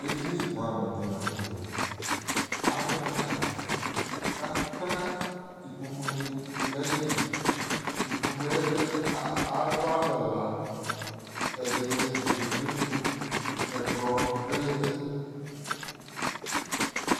Edini bʋɛamʋ dɩ la nʋ tɛ Adʋ tais kʋ akpa ikpokunɩ dʋ nʋ ayili Ikpoku yɛ ɛdɩ alʋ alʋ ɛla Ɛdɩnɩ edigbo edigbo, ɛkplɔ dʋ ɩɩlɩ